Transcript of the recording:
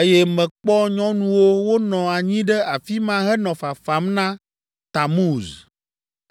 eye mekpɔ nyɔnuwo wonɔ anyi ɖe afi ma henɔ fafam na Tamuz.